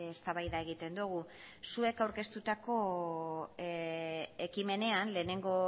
eztabaida egiten dugu zuek aurkeztutako ekimenean lehenengo